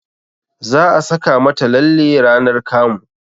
Za a saka mata lalle ranar kamu